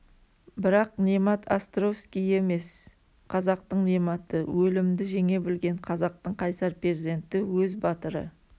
бірақ немат островский емес қазақтың нематы өлімді жеңе білген қазақтың қайсар перзенті өз батыры